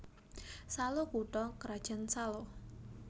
Salo kutha krajan Salo